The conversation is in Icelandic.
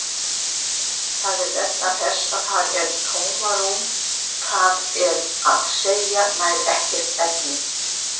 Það er vegna þess að þar er tómarúm, það er að segja nær ekkert efni.